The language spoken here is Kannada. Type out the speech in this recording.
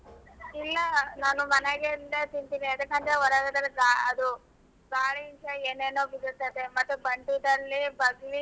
ಇಲ್ಲಾ ನಾನು ಮನ್ಯಾಗಿಂದೆ ತಿಂತಿನಿ ಎದಕಂದ್ರೆ ಹೊರಗಡೆ ಅದು ಗಾಳಿಯಿಂದ ಏನೇನೊ ಉದುರ್ತದೆ ಮತ್ತೆ